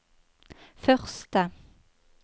første